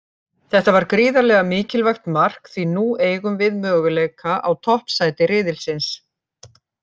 Þetta var gríðarlega mikilvægt mark því nú eigum við möguleika á toppsæti riðilsins.